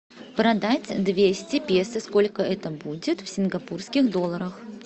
продать двести песо сколько это будет в сингапурских долларах